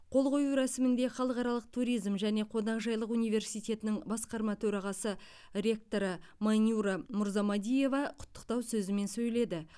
қол қою рәсімінде халықаралық туризм және қонақжайлық университетінің басқарма төрағасы ректоры майнюра мурзамадиева құттықтау сөзімен сөйледі